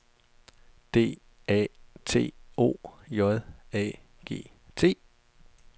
D A T O J A G T